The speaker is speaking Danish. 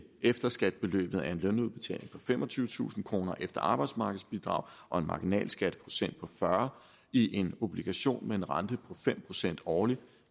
efterskatbeløbet af en lønudbetaling på femogtyvetusind kroner efter arbejdsmarkedsbidrag og en marginal skatteprocent på fyrre i en obligation med en rente på fem procent årligt